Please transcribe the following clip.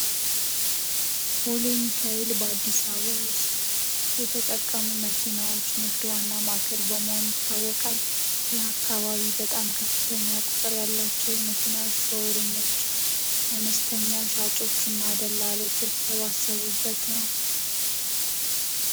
ቦሌ ሚካኤል በአዲስ አበባ ውስጥ የተጠቀሙ መኪናዎች ንግድ ዋና ማታወቃል የአካባቢ በጣም ከፍተኛ ቁጥር ያላቸው የመኪና አነስተኛ ሻጮችና ደላሎች የተሰሩበት ነው።